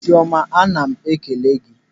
Chiọma ana m ekele gị.